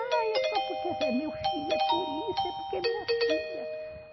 Ah, é só porque esse é meu filho, é por isso, é porque é minha filha.